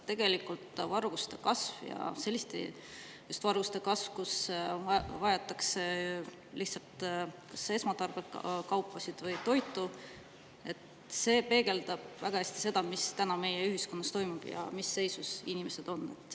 Tegelikult peegeldab varguste kasv ja just selliste varguste kasv, kui varastatakse lihtsalt kas esmatarbekaupu või toitu, väga hästi seda, mis meie ühiskonnas toimub ja mis seisus inimesed on.